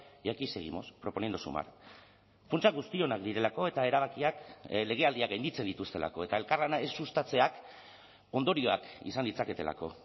y aquí seguimos proponiendo sumar funtsa guztionak direlako eta erabakiak legealdiak gainditzen dituztelako eta elkarlana ez sustatzeak ondorioak izan ditzaketelako